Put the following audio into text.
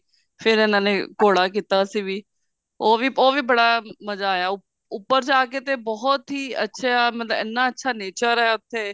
ਫੇਰ ਇਹਨਾ ਨੇ ਘੋੜਾ ਕੀਤਾ ਅਸੀਂ ਵੀ ਉਹ ਵੀ ਉਹ ਵੀ ਬੜਾ ਮਜ਼ਾ ਆਇਆ ਉੱਪਰ ਜਾ ਕੇ ਤਾਂ ਬਹੁਤ ਹੀ ਅੱਛਾ ਮਤਲਬ ਇੰਨਾ ਅੱਛਾ nature ਆ ਉੱਥੇ